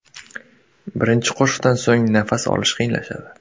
Birinchi qoshiqdan so‘ng nafas olish qiyinlashadi.